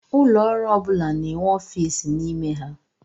Ụlọọrụ ọ bụla na-enwe ọfiisi n'ime ha.